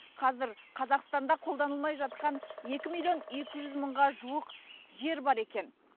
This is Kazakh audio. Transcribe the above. қазір қазақстанда қолданылмай жатқан екі миллион екі жүз мыңға жуық жер бар екен